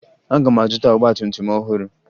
Aga m azụta ọgbatumtum ọhụrụ